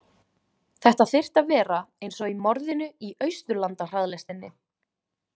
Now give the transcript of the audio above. Þetta þyrfti að vera eins og í Morðinu í Austurlandahraðlestinni.